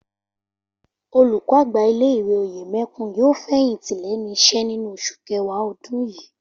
Olùkọ́-àgbà ilé ìwé Òyèmẹkùn yóò fẹ̀yìntì lẹ́nu iṣẹ́ nínú oṣù kẹwàá ọdún yìí